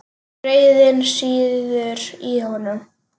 Reiðin sýður í honum.